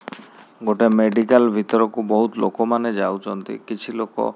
ଗୋଟେ ମେଡିକାଲ୍ ଭିତରକୁ ବହୁତ୍ ଲୋକମାନେ ଯାଉଛନ୍ତି କିଛି ଲୋକ --